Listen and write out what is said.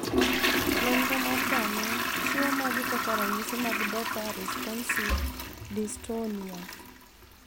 Nonro mar dhano chiwo magi kaka ranyisi mag Dopa responsive dystonia.